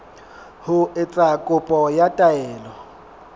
ho etsa kopo ya taelo